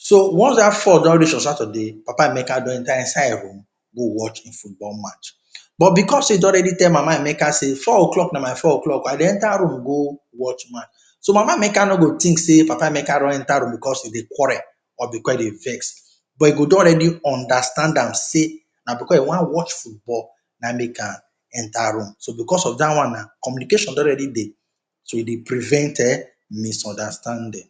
So once dat four don reach on Saturday papa Emeke don enter inside im room go watch im football match, but because he don already tell mama Emeke sey four o’clock na my four o’clock um I dey enter room go watch match, so mama Emeke nor go think sey papa Emeke run enter room because he dey quarrel or because he dey vex but he go don already understand am sey na because he want watch football na im make am enter room, so because of dat one na communication don already dey so e dey prevent um misunderstanding.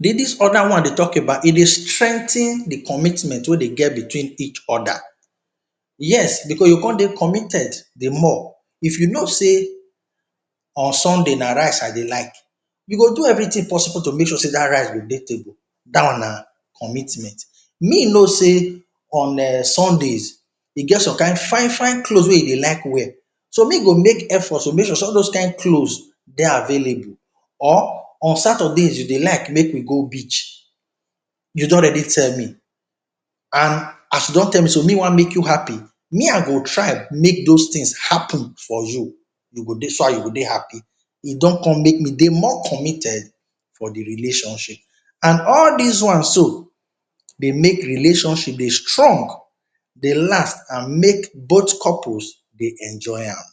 dis other one dey talk about e dey strengthen de commitment wey de get between each other, yes because you go con dey committed de more. If you know sey on Sunday na rice I de like, you go do everything possible to make sure sey dat rice go dey table, dat one na commitment. Me know sey on um Sundays e get some fine fine cloths wey he dey like wear, so me go make efforts to make sure sey all those kind clothes dey available or on Saturdays you dey like make we go beach, you don already tell me and as you don tell me so me want make you happy me I go try make those things happen for you, you go dey, so dat you go dey happy. E don con make me dey more committed for de relationship and all dis ones so dey make relationship dey strong, dey last and make both couples dey enjoy am